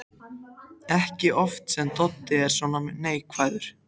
Ekki oft sem Doddi er svona neikvæður.